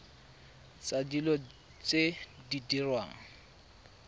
tsa dilo tse di diriwang